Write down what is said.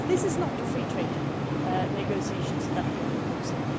This is not a free trade negotiation that we are proposing.